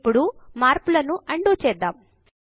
ఇప్పుడు మార్పును అన్డూ చేద్దాము